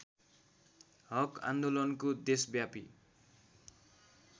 हक आन्दोलनको देशव्यापी